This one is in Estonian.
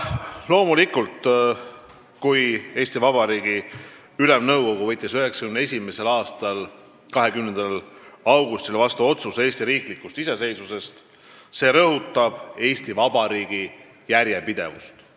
Loomulikult, kui Eesti Vabariigi Ülemnõukogu võttis 1991. aasta 20. augustil vastu otsuse Eesti riiklikust iseseisvusest, siis see rõhutas Eesti Vabariigi järjepidevust.